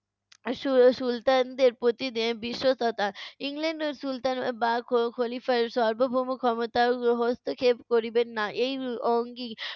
সু~ সুলতানদের প্রতি বি~ বিশ্বস্বতা। ইংল্যান্ড সুলতান বা খ~ খলিফার সর্বভৌম ক্ষমতার হ~ হস্তক্ষেপ করিবেন না। এই অঙ্গী